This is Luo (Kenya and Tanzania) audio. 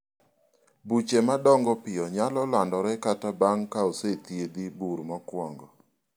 buche madongo piyo nyalo landore kata bang' ka osethiedhi bur mokwongo